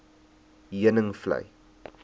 heuningvlei